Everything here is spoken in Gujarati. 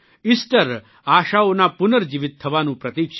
ઇસ્ટર આશાઓના પુર્નજીવીત થવાનું પ્રતિક છે